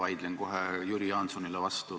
Ma vaidlen kohe Jüri Jaansonile vastu.